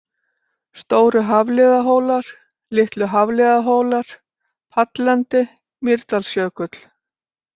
Stóru-Hafliðahólar, Litlu-Hafliðahólar, Pallendi, Mýrdalsjökull